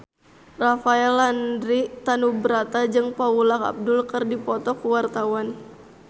Rafael Landry Tanubrata jeung Paula Abdul keur dipoto ku wartawan